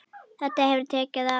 Þetta hefur tekið á.